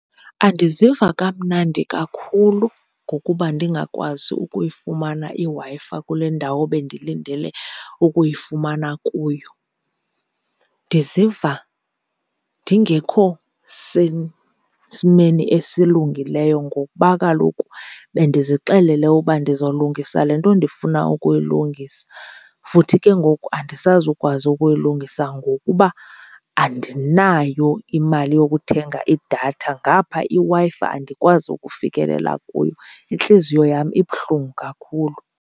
Andiziva kamnandi kakhulu ngokuba ndingakwazi ukuyifumana iWi-Fi kule ndawo bendilindele ukuyifumana kuyo. Ndiziva ndingekho sesimeni esilungileyo ngokuba kaloku bendizixelele uba ndizolungisa le nto ndifuna ukuyilungisa futhi ke ngoku andisazukwazi ukuyilungisa ngokuba andinayo imali yokuthenga idatha, ngapha iWi-Fi andikwazi ukufikelela kuyo. Intliziyo yam ibuhlungu kakhulu.